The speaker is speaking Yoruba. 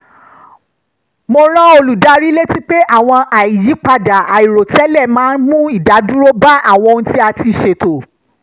mo rán olùdarí létí pé àwọn àyípadà àìròtẹ́lẹ̀ máa ń mú ìdádúró bá àwọn ohun tí a ti ṣètò